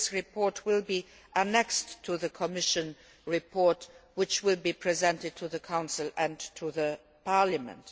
This report will be annexed to the Commission report, which will be presented to the Council and to Parliament.